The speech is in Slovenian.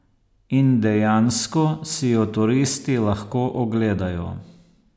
In dejansko si jo turisti lahko ogledajo.